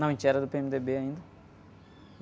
Não, a gente era do pê-eme-dê-bê ainda.